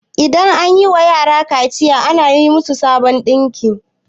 idan an yiwa yara kaciya ana yi musu sabon dinki